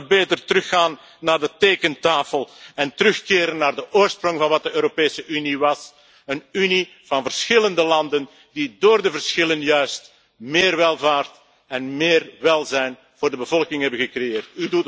We kunnen beter teruggaan naar de tekentafel en terugkeren naar de oorsprong van wat de Europese Unie was een Unie van verschillende landen die door de verschillen juist meer welvaart en meer welzijn voor de bevolking hebben gecreëerd.